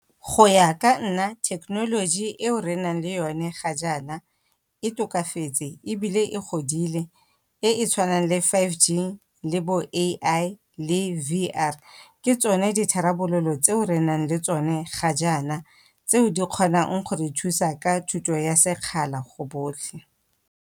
Go ya ka nna thekenoloji eo renang le yone ga jaana, e tokafetse ebile e godile e e tshwanang le five G, le bo A_I, le V_R. Ke tsone ditharabololo tseo re nang le tsone ga jaana tseo di kgonang go re thusa ka thuto ya sekgala go botlhe.